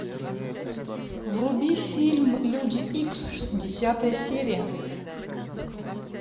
вруби фильм люди икс десятая серия